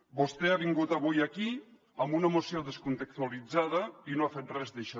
vostè ha vingut avui aquí amb una moció descontextualitzada i no ha fet res d’això